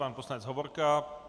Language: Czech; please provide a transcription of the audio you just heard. Pan poslanec Hovorka.